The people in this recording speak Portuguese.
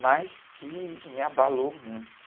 mas que me abalou muito.